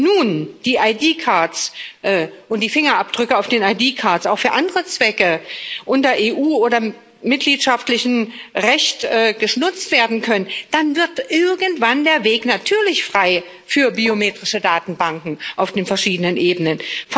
Wenn nun die ID cards und die Fingerabdrücke auf den ID cards auch für andere Zwecke unter EU oder mitgliedschaftlichem Recht genutzt werden können, dann wird irgendwann der Weg natürlich frei für biometrische Datenbanken auf den verschiedenen Ebenen.